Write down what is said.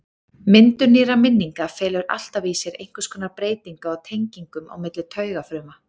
Myndun nýrra minninga felur alltaf í sér einhvers konar breytingu á tengingum á milli taugafruma.